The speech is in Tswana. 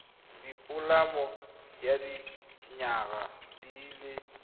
dipoloma ya dinyaga di le